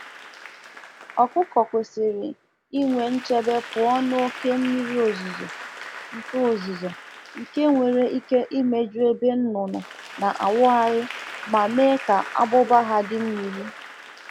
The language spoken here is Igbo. Ụmụ ọkụkọ chọrọ nchekwa pụọ na oke mmiri ozuzo nke pụrụ ime ka ebe obibi ha juputa na mmiri ma mee kwa nku ha ka ọ guo mmiri